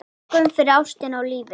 Þökkum fyrir ástina og lífið.